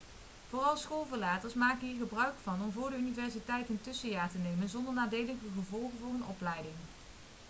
vooral schoolverlaters maken hier gebruik van om vóór de universiteit een tussenjaar te nemen zonder nadelige gevolgen voor hun opleiding